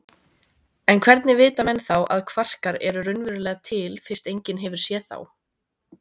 En hvernig vita menn þá að kvarkar eru raunverulega til fyrst enginn hefur séð þá?